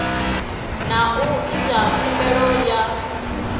na u ita khumbelo ya